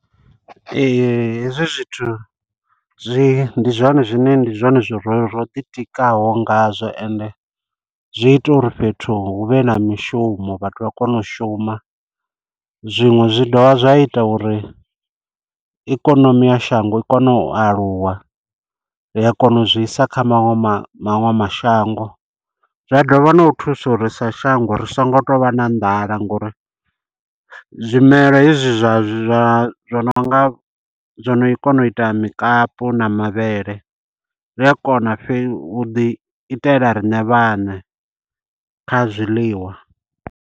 Ee, hezwi zwithu zwi ndi zwone zwine ndi zwone zwo ro ro ḓi tikaho ngazwo, ende zwi ita uri fhethu hu vhe na mishumo, vhathu vha kone u shuma. Zwiṅwe zwi dovha zwa ita uri, ikonomi ya shango i kone u aluwa, ri a kona u zwi isa kha maṅwe maṅwe mashango. Zwa dovha na u thusa uri sa shango ri songo to vha na nḓala, ngo uri zwimela hezwi zwa zwa nonga zwino kona u ita mukapi na mavhele, ri a kona u ḓi itela riṋe vhaṋe kha zwiḽiwa.